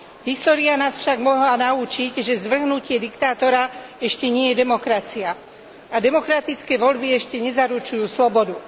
História nás však mohla naučiť, že zvrhnutie diktátora ešte nie je demokracia a demokratické voľby ešte nezaručujú slobodu.